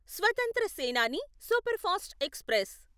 స్వతంత్ర Senani superfast express